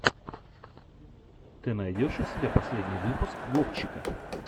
ты найдешь у себя последний выпуск вовчика